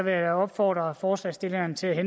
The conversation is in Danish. jeg da opfordre forslagsstillerne til at